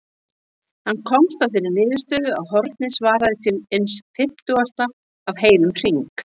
Hann komst að þeirri niðurstöðu að hornið svaraði til eins fimmtugasta af heilum hring.